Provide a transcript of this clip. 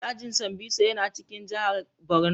Dajin Sambisa yana cikin jihar Borno.